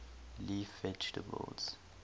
leaf vegetables